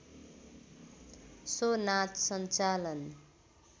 so नाच सञ्चालन